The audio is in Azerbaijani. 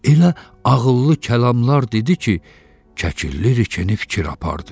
Elə ağıllı kəlamlar dedi ki, Kəkilli rikeni fikir apardı.